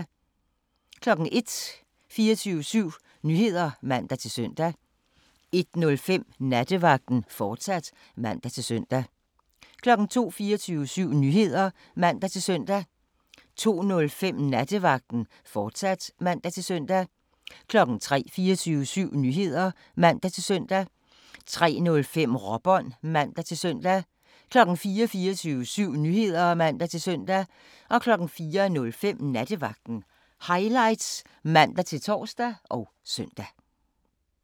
01:00: 24syv Nyheder (man-søn) 01:05: Nattevagten, fortsat (man-søn) 02:00: 24syv Nyheder (man-søn) 02:05: Nattevagten, fortsat (man-søn) 03:00: 24syv Nyheder (man-søn) 03:05: Råbånd (man-søn) 04:00: 24syv Nyheder (man-søn) 04:05: Nattevagten Highlights (man-tor og søn)